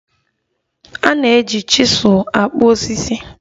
A na-eji chizul akpụ osisi